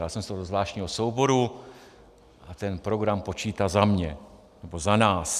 Dal jsem si to do zvláštního souboru a ten program počítá za mě, nebo za nás.